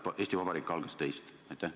Kas Eesti Vabariik algas teist?